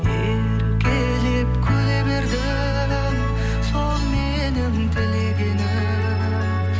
еркелеп күле бердің сол менің тілегенім